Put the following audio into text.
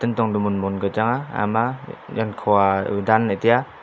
kantong to mun mun ka changnga haye ma yang khua udan ley tai a.